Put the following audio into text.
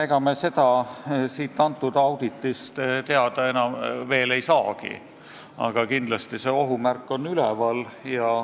Ega me seda sellest auditist teada ei saa, aga kindlasti on sellise ohu märk üleval.